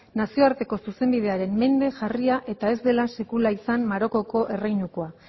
nazioarteko zuzenbidearen mende jarria eta ez dela sekula izan marokoko erreinukoa